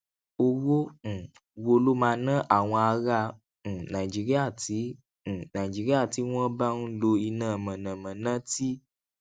owó um wo ló máa ná àwọn ará um nàìjíríà tí um nàìjíríà tí wón bá ń lo iná mànàmáná tí